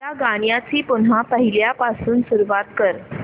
या गाण्या ची पुन्हा पहिल्यापासून सुरुवात कर